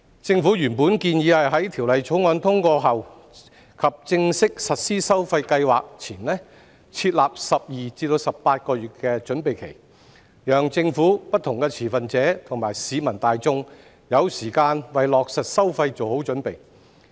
政府原本建議在《條例草案》通過後及正式實施收費計劃前，設立12至18個月的準備期，讓政府、不同持份者和市民大眾有時間為落實收費做好準備。